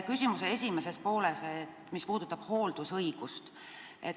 Küsimuse esimene pool puudutas hooldusõigust.